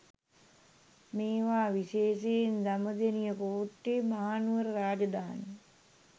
මේවා විශේෂයෙන් දඹදෙනිය කෝට්ටේ මහනුවර රාජධානී